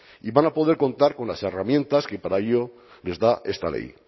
y van a poder contar con las herramientas que para ello les da esta ley